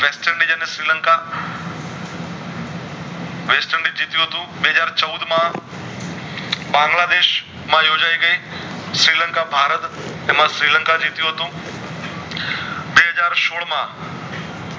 થયું હતું બે હાજર ચવુદ માં બાંગ્લા દેશ માં યોજાય ગય શ્રીલંકા ભારત એમાં શ્રીલંકા જીટીયુ હતું બે હાજર સોળ માં